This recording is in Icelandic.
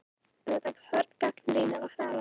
Hörð gagnrýni á Hraðbraut